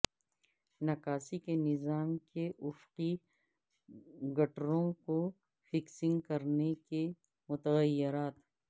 نکاسی کے نظام کے افقی گٹروں کو فکسنگ کرنے کے متغیرات